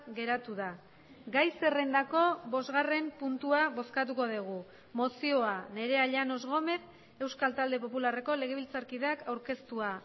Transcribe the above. geratu da gai zerrendako bosgarren puntua bozkatuko dugu mozioa nerea llanos gómez euskal talde popularreko legebiltzarkideak aurkeztua